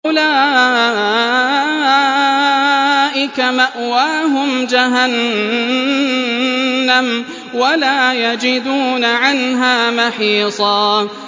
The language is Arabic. أُولَٰئِكَ مَأْوَاهُمْ جَهَنَّمُ وَلَا يَجِدُونَ عَنْهَا مَحِيصًا